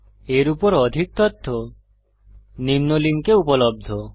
এর উপর অধিক তথ্য নিম্ন লিঙ্কে উপলব্ধ